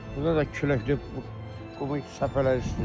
Burda da küləkdir, qumu səpəlirsən.